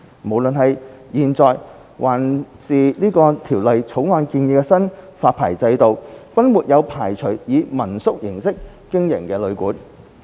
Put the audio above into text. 無論是現在的發牌制度，還是《條例草案》建議的新發牌制度，均沒有排除以民宿形式經營的旅館。